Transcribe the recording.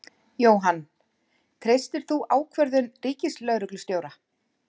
Jóhann: Treystir þú ákvörðun Ríkislögreglustjóra?